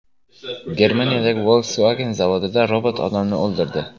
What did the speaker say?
Germaniyadagi Volkswagen zavodida robot odamni o‘ldirdi.